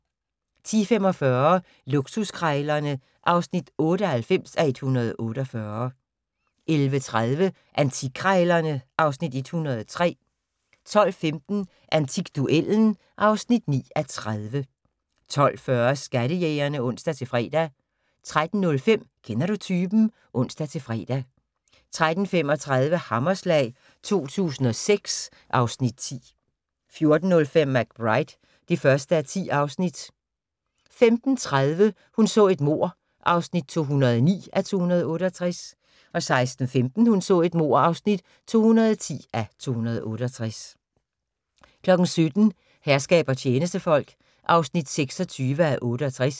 10:45: Luksuskrejlerne (98:148) 11:30: Antikkrejlerne (Afs. 103) 12:15: Antikduellen (9:30) 12:40: Skattejægerne (ons-fre) 13:05: Kender du typen? (ons-fre) 13:35: Hammerslag 2006 (Afs. 10) 14:05: McBride (1:10) 15:30: Hun så et mord (209:268) 16:15: Hun så et mord (210:268) 17:00: Herskab og tjenestefolk (26:68)